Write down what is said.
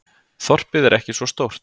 Þorpið er ekki svo stórt.